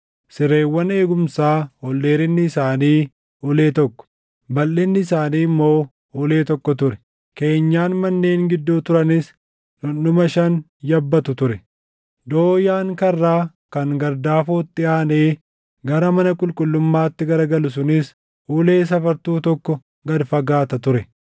Sireewwan eegumsaa ol dheerinni isaanii ulee tokko, balʼinni isaanii immoo ulee tokko ture; keenyan manneen gidduu turanis dhundhuma shan yabbatu ture. Dooyaan karraa kan gardaafootti aanee gara mana qulqullummaatti garagalu sunis ulee safartuu tokko gad fagaata ture.